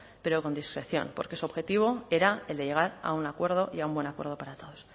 pero con discreción porque su objetivo era el de llegar a un acuerdo y a un buen acuerdo para todos